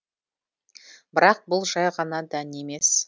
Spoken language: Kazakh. бірақ бұл жай ғана дән емес